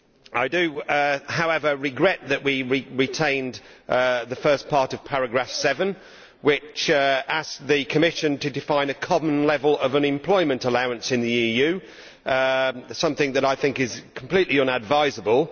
I do, however, regret that we retained the first part of paragraph 7, which asked the Commission to define a common level of unemployment allowance in the EU, something that I think is completely inadvisable.